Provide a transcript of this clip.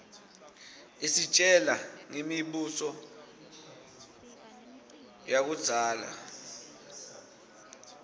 isitjela ngemi buso yakuiszala